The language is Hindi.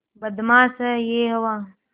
बदमाश है यह हवा